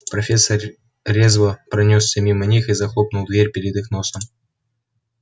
профессор резво пронёсся мимо них и захлопнул дверь перед их носом